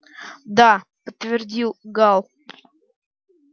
да подтвердил гаал